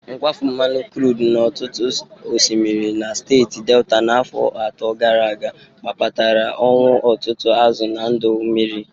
Nkwafụ nmanụ krud n'ọtụtụ osmiri na steeti Delta n'afọ atọ gara aga kpatara ọnwụ ụtụtụ azụ na ndụ mmiri.